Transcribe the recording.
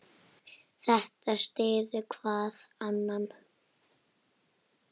Þetta styður hvað annað.